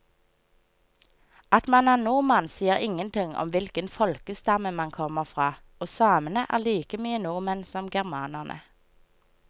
At man er nordmann sier ingenting om hvilken folkestamme man kommer fra, og samene er like mye nordmenn som germanerne.